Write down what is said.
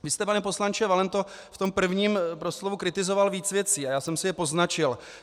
Vy jste, pane poslanče Valento, v tom prvním proslovu kritizoval víc věcí a já jsem si je poznačil.